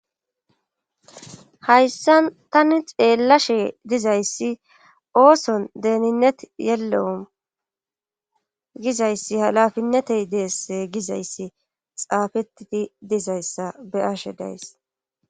hayssan tani xeellashe dizayssi ooson deeninnet yellowm gizayssi halafinnetey deess gizayssi xaafetidi dizayssa be'ashe days